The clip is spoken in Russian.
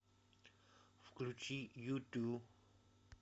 включи юту